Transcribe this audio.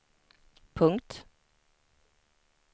punkt